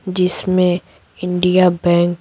जिसमें India bank --